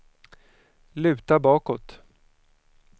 luta bakåt